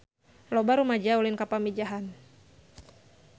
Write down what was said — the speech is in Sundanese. Loba rumaja ulin ka Pamijahan